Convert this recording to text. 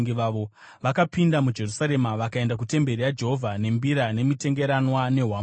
Vakapinda muJerusarema vakaenda kutemberi yaJehovha nembira nemitengeranwa nehwamanda.